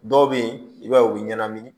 Dɔw bɛ yen i b'a ye u bɛ ɲɛnamini